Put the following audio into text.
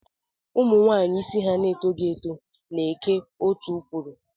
Umunwaanyi isi ha na-etoghi nke ọma na-eke otú kwuru.